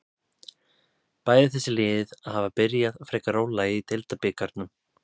Bæði þessi lið hafa byrjað frekar rólega í deildabikarnum.